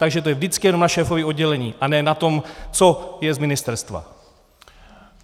Takže to je vždycky jenom na šéfovi oddělení a ne na tom, co je z ministerstva.